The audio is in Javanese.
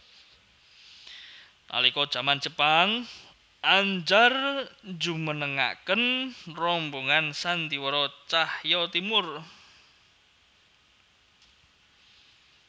Nalika jaman Jepang Andjar njumenengaken rombongan sandhiwara Tjahja Timoer